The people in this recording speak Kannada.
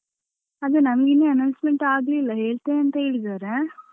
ಅದು ನಮ್ಗೆ ಇನ್ನೂ announcement ಆಗ್ಲಿಲ್ಲ ಹೇಳ್ತೇನೆ ಅಂತ ಹೇಳಿದ್ದಾರೆ.